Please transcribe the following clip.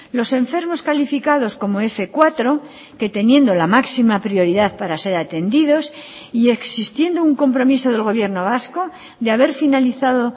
los enfermos calificados como f cuatro que teniendo la máxima prioridad para ser atendidos y existiendo un compromiso del gobierno vasco de haber finalizado